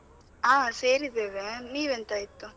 ಹಾ, ಸೇರಿದ್ದೇವೆ. ನೀವ್ ಎಂತಾಯ್ತು?